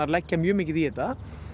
leggja mjög mikið í þetta